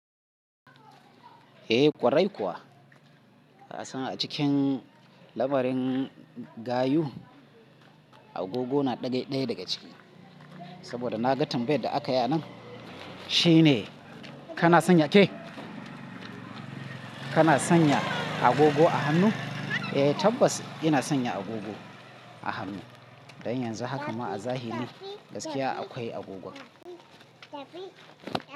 Eh ƙwarai kuwa. Kasan a cikin labarin gayu agogo na ɗaya daga ciki. Saboda na gatin bai da aka ya nan shine kana sanya ke? Kana sanya agogo a hannu? Eh tabbas ina sanya agogo a hannu. Dan yanzu haka ma a zahiri gaskiya akwai agogowa.